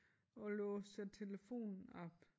Og låser telefonen op